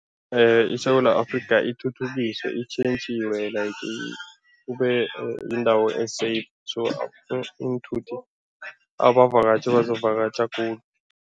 ISewula Afrika ithuthukiswe, itjhentjhiwe like kube yindawo -safe so iinthuthi, abavakatjhi bazokuvakatjha khulu.